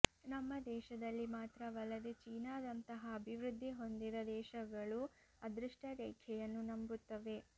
ನಮ್ಮ ದೇಶದಲ್ಲಿ ಮಾತ್ರವಲ್ಲದೆ ಚೀನಾದಂತಹ ಅಭಿವೃದ್ಧಿ ಹೊಂದಿದ ದೇಶಗಳೂ ಅದೃಷ್ಟ ರೇಖೆಯನ್ನು ನಂಬುತ್ತವೆ